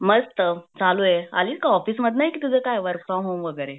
मस्त चालू आहे आली का ऑफिस मधन की तुझ काय वर्क फ्रॉम होम वगैरे?